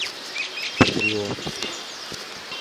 патриот